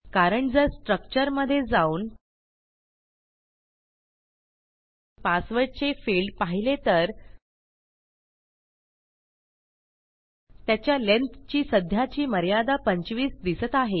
कारण जर स्ट्रक्चर मधे जाऊन पासवर्डचे फिल्ड पाहिले तर त्याच्या लेंग्थ ची सध्याची मर्यादा 25 दिसत आहे